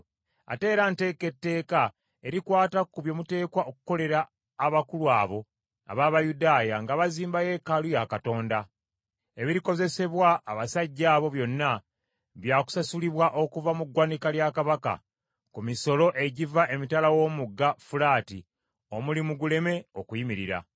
Ate era nteeka etteeka erikwata ku bye muteekwa okukolera abakulu abo ab’Abayudaaya nga bazimba yeekaalu ya Katonda: Ebirikozesebwa abasajja abo byonna, bya kusasulibwa okuva mu ggwanika lya Kabaka, ku misolo egiva emitala w’omugga Fulaati, omulimu guleme okuyimirira.